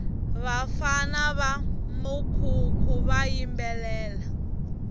vafana va mukhukhu va yimbelela